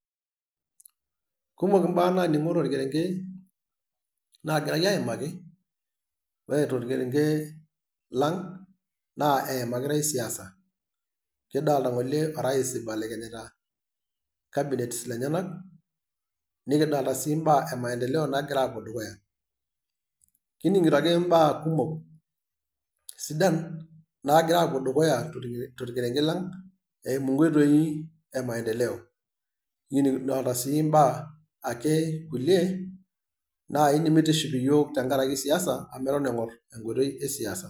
kumok mbaa naningo tolkerenke nagirai aimaki woore tolkerenke lang naa eimakitaki siasa kidolta ngole orais ibelekenyita cabinet lenyenak nikidolta sii mbaa emaendeleo nagira apuoo dukuya. kidolta sii epoito dukuya tolerenke lang kidolta sii nkuliee baa nemegira aitiship yiook amu eton sii mibala enkoitoi esiaisa